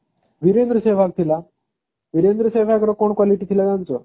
ବିରେନ୍ଦ୍ର ସେଭାଗ ଥିଲା ବିରେନ୍ଦ୍ର ସେଭାଗ ର କଣ quality ଥିଲା ଜାଣିଛ